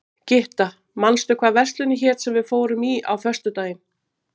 Gytta, manstu hvað verslunin hét sem við fórum í á föstudaginn?